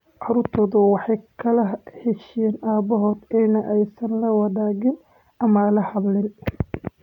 Carruurtu waxay kala heshiiyeen aabahood in aysan la wadaagin ama la hadlin.